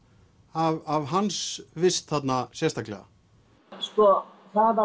af hans vist þarna sérstaklega ja sko það